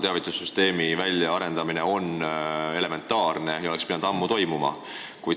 Teavitussüsteemi väljaarendamine on kahtlemata elementaarne abinõu ja see oleks pidanud ammu tehtud olema.